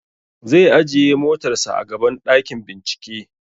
Zai ajiye motar sa a gaban ɗakin bincike